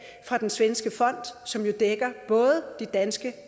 fra den svenske fond som jo dækker både de danske